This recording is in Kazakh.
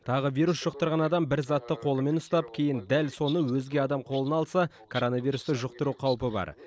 тағы вирус жұқтырған адам бір затты қолымен ұстап кейін дәл соны өзге адам қолына алса коронавирусты жұқтыру қаупі бар